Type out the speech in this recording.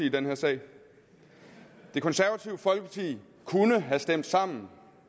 i den her sag det konservative folkeparti kunne have stemt sammen